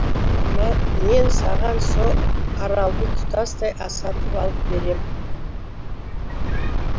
мен саған со аралды тұтастай сатып алып берем